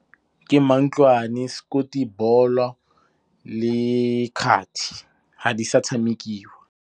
Ke mantlwane, le kgathi ga di sa tshamekiwa.